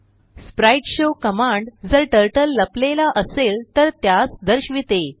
sprite show command जर turtle लपलेला असेल तर त्यास दर्शविते